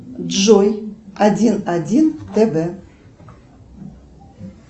джой один один тв